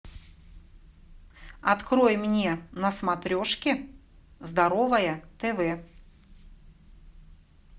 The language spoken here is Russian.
открой мне на смотрешке здоровое тв